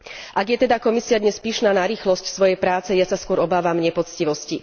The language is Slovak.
Ak je teda dnes Komisia pyšná na rýchlosť svojej práce, ja sa skôr obávam nepoctivosti.